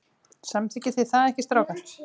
Samþykkið þið það ekki strákar?